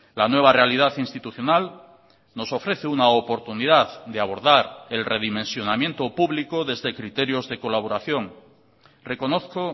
la nueva realidad institucional nos ofrece una oportunidad de abordar el redimensionamiento público desde criterios de colaboración reconozco